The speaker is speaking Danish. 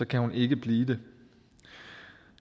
kan hun ikke blive det